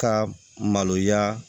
Ka maloya